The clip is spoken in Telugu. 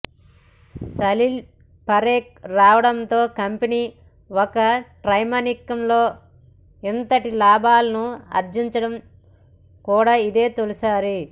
సలీల్ పరేఖ్ రావడంతో కంపెనీ ఒక త్రైమాసికంలో ఇంతటి లాభాలను ఆర్జించడం కూడా ఇదే తొలిసారి